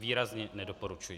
Výrazně nedoporučuji.